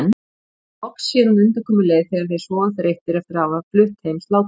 Þá loks sér hún undankomuleið þegar þeir sofa þreyttir eftir að hafa flutt heim sláturfé.